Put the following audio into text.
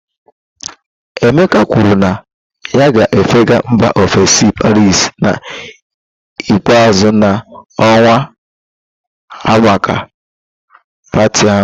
Emeka kwuru na ya ga-efega mba ofesi Paris na ikpeazụ na ọnwa a maka pati ahụ